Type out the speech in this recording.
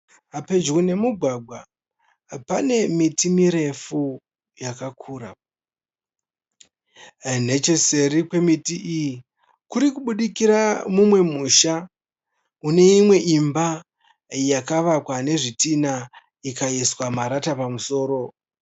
Pedyo nemugwagwa pane miti mirefu yakakura. Necheseri kwemiti iyi kurikubudikira mumwe musha une imwe imba yakavakwa nezvitinha ikaiswa marata pamusoro.